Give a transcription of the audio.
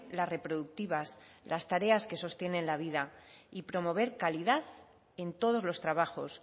las reproductivas las tareas que sostienen la vida y promover calidad en todos los trabajos